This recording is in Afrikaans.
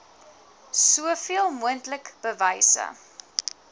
soveel moontlik bewyse